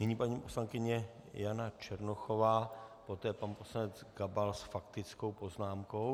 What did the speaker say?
Nyní paní poslankyně Jana Černochová, poté pan poslanec Gabal s faktickou poznámkou.